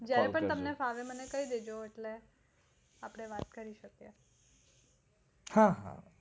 જયારે પણ તમને ફાવે ત્યારે મને કહી દેજો ત્યારે આપણે વાત કરી શકીયે